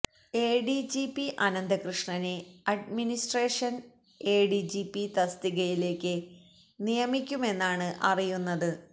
A D G P അനന്തകൃഷ്ണനെ administration A D G P തസ്തികയില് നിയമിക്കുമെന്നാണ് അറിയുന്നത്